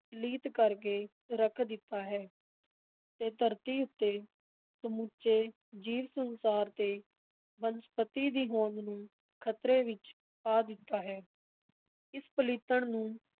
ਪਲੀਤ ਕਰ ਕੇ ਰੱਖ ਦਿੱਤਾ ਹੈ ਤੇ ਧਰਤੀ ਉੱਤੇ ਸਮੁੱਚੇ ਜੀਵ-ਸੰਸਾਰ ਤੇ ਬ ਬਨਸਪਤੀ ਦੀ ਹੋਂਦ ਨੂੰ ਖ਼ਤਰੇ ਵਿਚ ਪਾ ਦਿੱਤਾ ਹੈ, ਇਸ ਪਲੀਤਣ ਨੂੰ